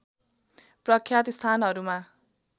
प्रख्यात स्थानहरूमा